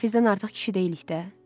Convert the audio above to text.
Hafizdən artıq kişi deyilik də.